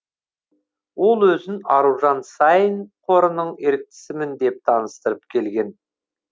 ол өзін аружан саин қорының еріктісімін деп таныстырып келген